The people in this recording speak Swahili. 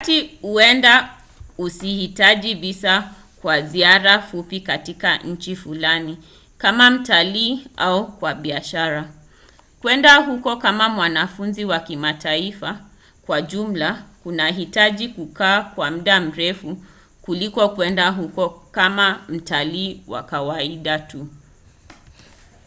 wakati huenda usihitaji visa kwa ziara fupi katika nchi fulani kama mtalii au kwa biashara kwenda huko kama mwanafunzi wa kimataifa kwa jumla kunahitaji kukaa kwa muda mrefu kuliko kwenda huko kama mtalii wa kawaida tu